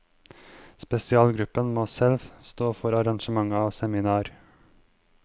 Spesialgruppen må selv stå for arrangement av seminar.